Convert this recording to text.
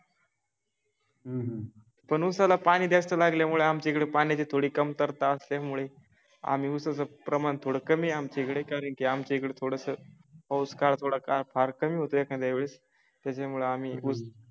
पण ऊसाला पाणी जास्त लागल्यामुळे आमच्याकडे थोडी कमतरता असल्यामुळे आम्ही उसाचे प्रमाण थोडं कमी आहे आमच्याकडे कारण की आमच्या इकड थोडसं पाऊस काळ थोडासा फार कमी होतो एखाद्या वेळेस त्याच्यामुळे आम्ही उस